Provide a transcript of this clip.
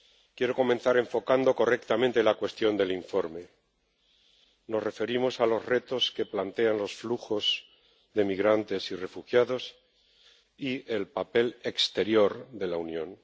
Quiero comenzar enfocando correctamente la cuestión del informe nos referimos a los retos que plantean los flujos de migrantes y refugiados y el papel exterior de la Unión.